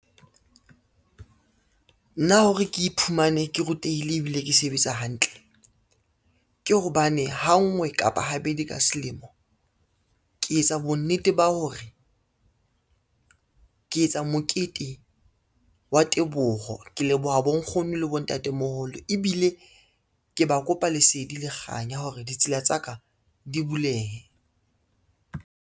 Nna hore ke iphumane ke rutehile ebile ke sebetsa hantle, ke hobane ha nngwe kapa habedi ka selemo ke etsa bonnete ba hore ke etsa mokete wa teboho, ke leboha bonkgono le bontatemoholo ebile ke ba kopa lesedi le kganya hore ditsela tsa ka di bulehe.